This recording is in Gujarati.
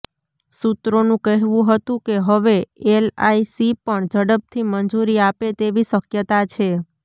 સૂત્રોનું કહેવું હતું કે હવે એલઆઇસી પણ ઝડપથી મંજૂરી આપે તેવી શક્યતા છે